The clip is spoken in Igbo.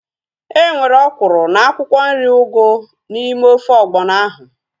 Enwere ọkwụrụ na akwụkwọ nri ugu n'ime ofe ọgbọnọ ahu